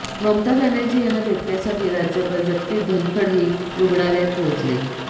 ममता बॅनर्जी यांना भेटण्यासाठी राज्यपाल जगदीप धनखडही रुग्णालयात पोहोचले